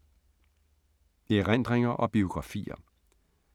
Erindringer og biografier